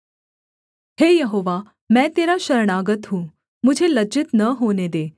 हे यहोवा मैं तेरा शरणागत हूँ मुझे लज्जित न होने दे